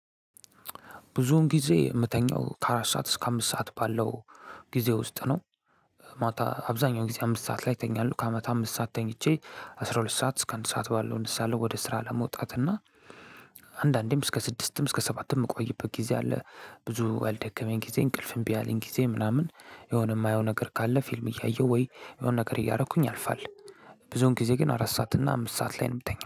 ብዙውን ጊዜ ምተኛው ከአራት ሰዓት እስከ አምስት ሰዓት ባለው ጊዜ ውስጥ ነው። ማታ አብዛኛው ጊዜ አምስት ሰዓት ላይ እተኛለሁ ከአመት አምስት ሰዓት ተኝቼ አስራ ሁለት ሰዓት እስከ አንድ ሰዓት ባለው እነሳለሁ ወደ ስራ ለመውጣት እና። አንዳንዴም እስከ ስድስትም እስከ ሰባትም ምቆይበት ጊዜ አለ። ብዙ ባልደከመኝ ግዜ እንቅልፍ እምቢ ባለኝ ጊዜ ምናምን የሆነ ማየው ነገር ካለ ፊልም እያየሁኝ ወይ የሆነ ነገር እያረግኩኝ አልፋለሁ። ብዙን ጊዜ ግን አራት ሰዓት እና አምስት ሰዓት ላይ ነው ምተኛው